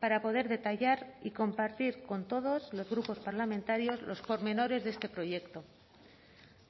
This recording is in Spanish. para poder detallar y compartir con todos los grupos parlamentarios los pormenores de este proyecto